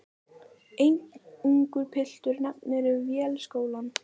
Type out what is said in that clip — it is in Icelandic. Einn ungur piltur nefnir Vélskólann.